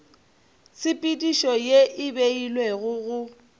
tshepedišo ye e beilwego go